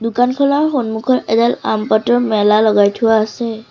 দোকানখনৰ সন্মুখত এডাল আম পাতৰ মেলা লগাই থোৱা আছে।